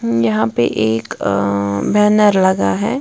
यहां पे एक अ बैनर लगा है।